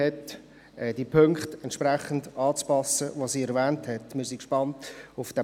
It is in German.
Der Punkt 1 ist in ein Postulat gewandelt worden.